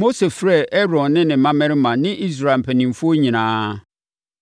Mose frɛɛ Aaron ne ne mmammarima ne Israel mpanimfoɔ nyinaa.